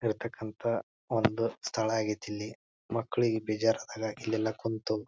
ಇರತಕ್ಕಂಥ ಒಂದು ಸ್ಥಳ ಆಗೇತಿಲ್ಲಿ. ಮಕ್ಕಳಿಗೆ ಬೇಜಾರಾದಾಗ ಇಲ್ಲೆಲ್ಲಾ ಕುಂತು --